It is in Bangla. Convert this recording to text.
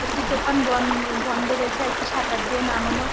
একটি দোকান বন-এ বন্ধ রয়েছে আরেকটি শাটার দিয়ে নামানো।